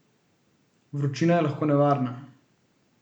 Vročina je lahko nevarna.